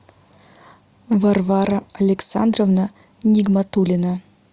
варвара александровна нигматулина